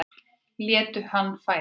Lét hann færa